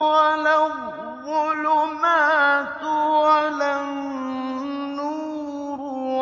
وَلَا الظُّلُمَاتُ وَلَا النُّورُ